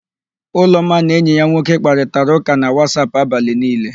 Ụlọma na enyi ya nwoke kparịtara ụ́kà na Wasap abalị niile.